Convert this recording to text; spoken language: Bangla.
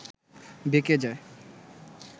বেঁকে যায়